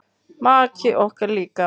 Maki okkar líka.